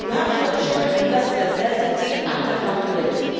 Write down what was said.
We have to ensure investor certainty and accountability.